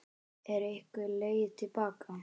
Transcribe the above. Er einhver leið til baka?